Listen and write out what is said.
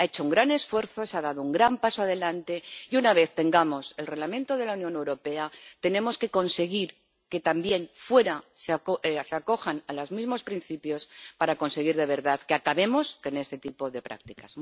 Ha hecho un gran esfuerzo, se ha dado un gran paso adelante y, una vez que tengamos el Reglamento de la Unión Europea, tenemos que conseguir que también fuera se acojan a los mismos principios para conseguir de verdad acabar con este tipo de prácticas.